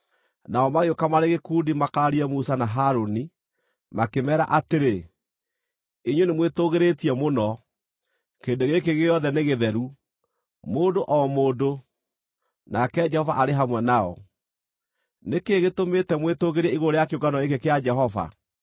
Nao magĩũka marĩ gĩkundi makararie Musa na Harũni, makĩmeera atĩrĩ, “Inyuĩ nĩmwĩtũgĩrĩtie mũno! Kĩrĩndĩ gĩkĩ gĩothe nĩ gĩtheru, mũndũ o mũndũ, nake Jehova arĩ hamwe nao. Nĩ kĩĩ gĩtũmĩte mwĩtũũgĩrie igũrũ rĩa kĩũngano gĩkĩ kĩa Jehova?”